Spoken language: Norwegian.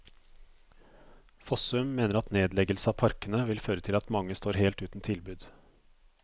Fossum mener at nedleggelse av parkene vil føre til at mange står helt uten tilbud.